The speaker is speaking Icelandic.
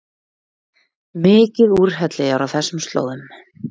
Mikið úrhelli er á þessum slóðum